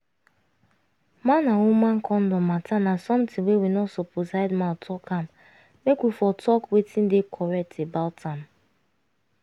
man and woman condom matter na something wey we no suppose hide mouth talk am make we for talk wetin dey correct about am